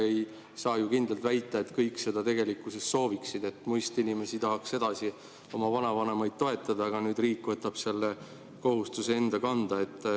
Ei saa ju kindlalt väita, et kõik seda sooviksid, muist inimesi tahaks edasi oma vanavanemaid toetada, aga nüüd riik võtab selle kohustuse enda kanda.